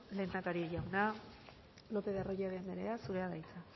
lehendakari jauna lopez de arroyabe anderea zurea da hitza